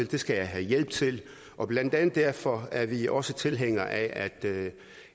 det skal jeg have hjælp til og blandt andet derfor er vi også tilhængere af